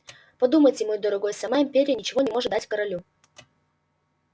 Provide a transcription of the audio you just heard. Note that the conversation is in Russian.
подумайте мой дорогой сама империя ничего не может дать корелу